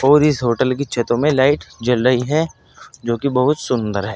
और इस होटल की छतो में लाइट जल लई है जो कि बोहुत सुंदर है।